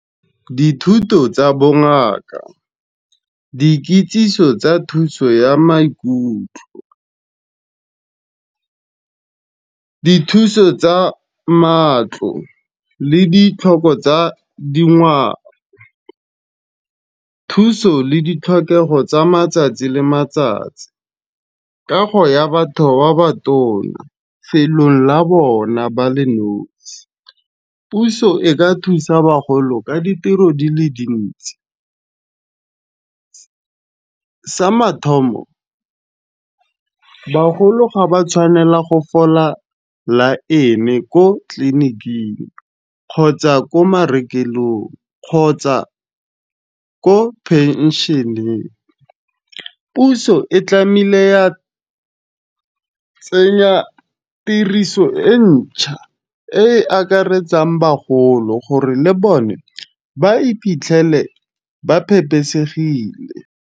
Dithuto tsa bongaka, dikitsiso tsa thuso ya maikutlo, dithuso tsa matlo le ditlhoko tsa dingwao. Thuso le ditlhokego tsa matsatsi le matsatsi, kago ya batho ba ba tona felong la bona ba le nosi. Puso e ka thusa bagolo ka ditiro di le dintsi, sa mathomo bagolo ga ba tshwanela go fola laene ko tleliniking, kgotsa ko marekelong, kgotsa ko penšheneng. Puso e tlamile ya tsenya tiriso e ntšha e e akaretsang bagolo gore le bone ba iphitlhele ba phepesegile.